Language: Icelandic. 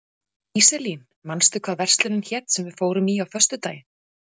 Íselín, manstu hvað verslunin hét sem við fórum í á föstudaginn?